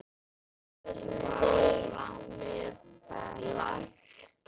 Þar leið mér best.